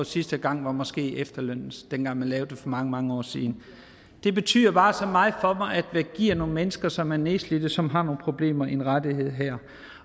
sidste gang måske efterlønnen dengang man lavede den for mange mange år siden det betyder bare så meget for mig at man giver nogle mennesker som er nedslidte som har nogle problemer en rettighed her